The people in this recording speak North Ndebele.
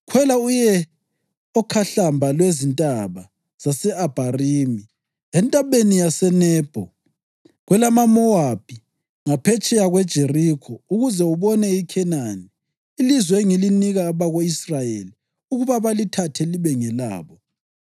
“Khwela uye okhahlamba lwezintaba zase-Abharimi eNtabeni yaseNebho kwelamaMowabi, ngaphetsheya kweJerikho, ukuze ubone iKhenani, ilizwe engilinika abako-Israyeli ukuba balithathe libe ngelabo.